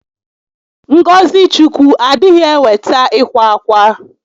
Ngọzị Chukwu adịghị eweta ịkwa ákwà